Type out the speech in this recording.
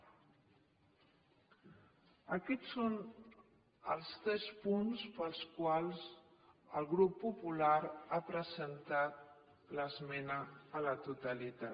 aquests són els tres punts pels quals el grup popular ha presentat l’esmena a la totalitat